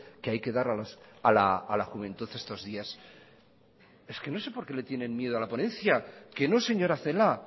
que hay que dar a la juventud estos días es que no sé por qué le tienen miedo a la ponencia que no señora celaá